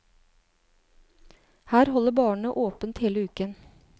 Her holder barene åpent hele uken.